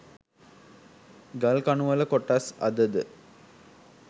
ගල්කණුවල කොටස් අද ද